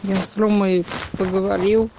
я с ромой поговорил